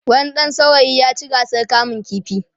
wani ɗan saurayi ya ci gasar kamun ƙifi